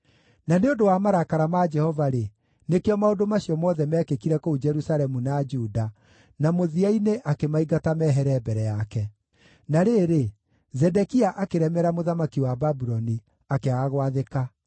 Na nĩ ũndũ wa marakara ma Jehova-rĩ, nĩkĩo maũndũ macio mothe meekĩkire kũu Jerusalemu na Juda, na mũthia-inĩ akĩmaingata mehere mbere yake. Na rĩrĩ, Zedekia akĩremera mũthamaki wa Babuloni, akĩaga gwathĩka.